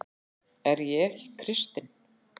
Er ég ekki kristinn?